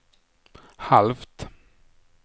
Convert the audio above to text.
halvt